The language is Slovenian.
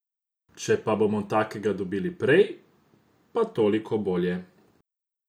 Če pa bomo takega dobili prej, pa toliko bolje.